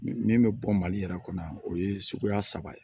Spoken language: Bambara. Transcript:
Min min bɛ bɔ mali yɛrɛ kɔnɔ o ye suguya saba ye